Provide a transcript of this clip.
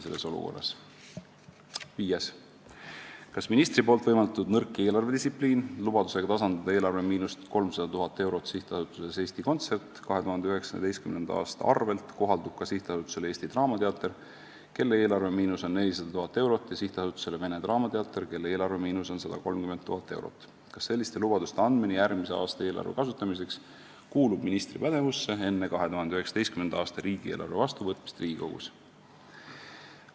Viies küsimus: "Kas ministri poolt võimaldatud nõrk eelarvedistsipliin – lubadusega tasandada eelarvemiinust 300 000€ SA-s Eesti Kontsert 2019. aasta arvelt kohaldub ka SA-le Eesti Draamateater, kelle eelarvemiinus on 400 000€ ja SA-le Vene Draamateater, kelle eelarvemiinus on 130 000€? Kas selliste lubaduste andmine järgmise aasta eelarve kasutamiseks kuulub ministri pädevusse enne 2019. aasta riigieelarve vastu võtmist Riigikogus?